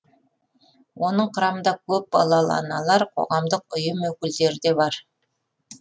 оның құрамында көп балалы аналар қоғамдық үйым өкілдері де бар